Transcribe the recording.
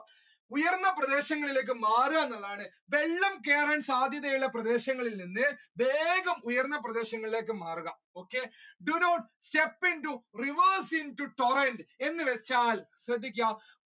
ഉയർന്ന പ്രദേശങ്ങളിലേക്ക് മാറുക എന്നുള്ളതാണ് വെള്ളം കയറാൻ സാധ്യത ഉള്ള പ്രദേശങ്ങളിൽ നിന്ന് വേഗം ഉയർന്ന പ്രദേശങ്ങളിലേക്ക് മാറുക do not step into rivers into എന്ന് വെച്ചാൽ ശ്രദ്ധിക്കുക